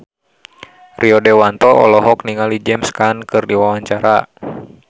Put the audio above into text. Rio Dewanto olohok ningali James Caan keur diwawancara